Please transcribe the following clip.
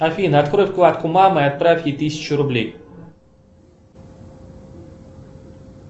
афина открой вкладку мамы и отправь ей тысячу рублей